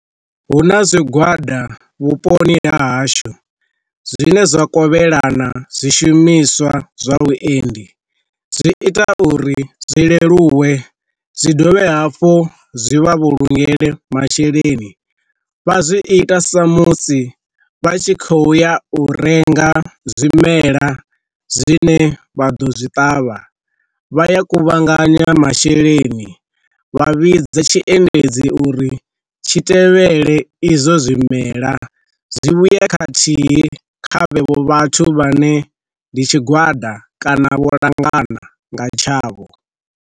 Hu na zwigwada vhuponi ha hashu zwine zwa kovhelana zwi shumiswa zwa vhuendi, zwi ita uri zwi leluwe zwi dovhe hafhu zwi vha vhulungele masheleni vha zwi ita sa musi vha tshi khou ya u renga zwimela zwine vha ḓo zwi ṱavha, vha ya kuvhanganya masheleni vha vhidze tshiendedzi uri tshi tevhele izwo zwimela zwi vhuye khathihi kha vhenevho vhathu vha ne ndi tshigwada kana vho langana nga tshavho.